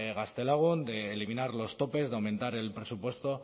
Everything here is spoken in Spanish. gaztelagun de eliminar los topes de aumentar el presupuesto